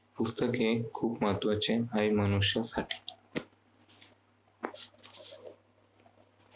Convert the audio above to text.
पुस्तके खूप महत्त्वाचे आहेत मनुष्यासाठी